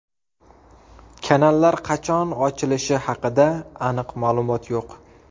Kanallar qachon ochilishi haqida aniq ma’lumot yo‘q.